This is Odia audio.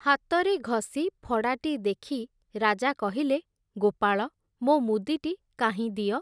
ହାତରେ ଘଷି ଫଡ଼ାଟି ଦେଖି ରାଜା କହିଲେ, ଗୋପାଳ, ମୋ ମୁଦିଟି କାହିଁ ଦିଅ ।